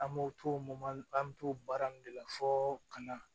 An m'o toma an mi t'o baara nunnu de la fɔ ka na